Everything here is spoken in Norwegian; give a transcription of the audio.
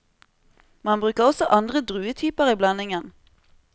Man bruker også andre druetyper i blandingen.